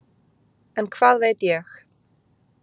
En hvað veit ég?